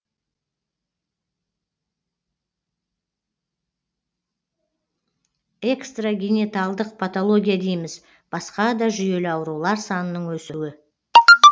экстрагенеталдық патология дейміз басқа да жүйелі аурулар санының өсуі